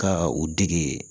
Ka u dege